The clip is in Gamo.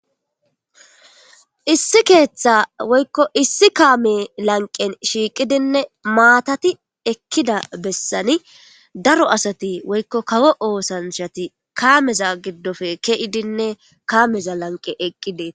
Issi ketha woyko issi kame lanqen shiqidine matati ekida besani daro asati woyko kawo osanchati kameza gidope ke'idinne kameza lanqen eqidi.